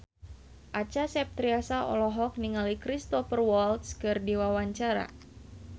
Acha Septriasa olohok ningali Cristhoper Waltz keur diwawancara